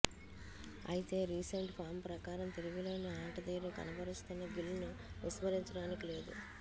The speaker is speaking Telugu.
అయితే రీసెంట్ ఫామ్ ప్రకారం తిరుగులేని ఆటతీరు కనబరుస్తున్న గిల్ను విస్మరించడానికి లేదు